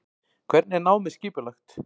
Hvernig er námið skipulagt?